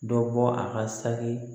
Dɔ bɔ a ka saki